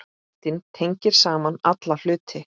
Ástin tengir saman alla hluti.